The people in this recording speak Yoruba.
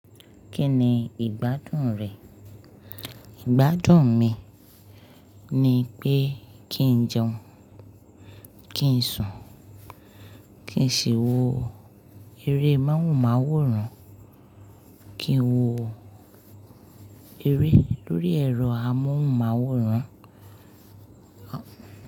Kíni ìgbádùn rẹ? Ìgbádùn mi ni pé kí n jẹun, kí n sùn, kí n ṣòwò eré máhúnmáhúran, kí n wò eré lórí ẹ̀rọ amóhùnmáwòrán.